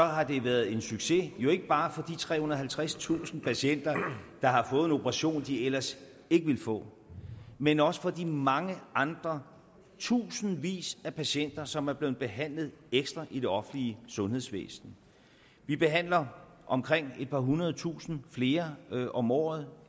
har den været en succes jo ikke bare for de trehundrede og halvtredstusind patienter der har fået en operation de ellers ikke ville få men også for de mange andre tusindvis af patienter som er blevet behandlet ekstra i det offentlige sundhedsvæsen vi behandler omkring et par hundredetusinde flere om året